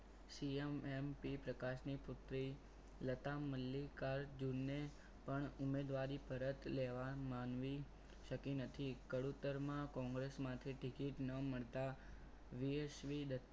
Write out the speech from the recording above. CMMP પ્રકાશની પુત્રી લતા મલ્લિકા અર્જુનને પણ ઉમેદવારી પરત લેવામાં માનવી શકી નથી કડુતરમાં કોંગ્રેસમાંથી ticket ન મળતા યશ્વી દત્તા